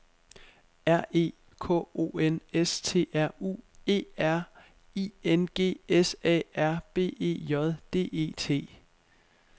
R E K O N S T R U E R I N G S A R B E J D E T